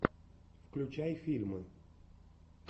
включай фильмы